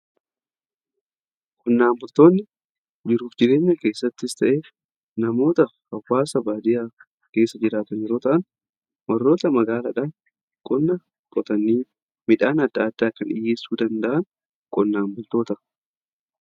qonnaan bultoonni jiruuf jireenya keessattis ta'ee namoota hawwaasa baadiyaa keessa jiraatan yeroo ta'aan warroota magaalaadhaf qonna qotanii midhaan adda addaa kan dhiyyeessuu danda'an qonnaan bultoota jedhamu.